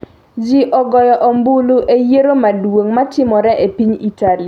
Ji ogoyo ombulu e yiero maduong’ matimore e piny Italy